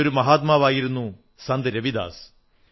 അങ്ങനെയൊരു മഹാത്മാവായിരുന്നു സന്ത് രവിദാസ്